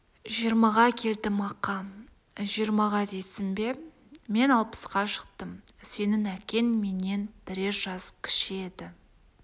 жиырмаға келдім ақа жиырмаға дейсің бе мен алпысқа шықтым сенің әкең менен бірер жас кіші еді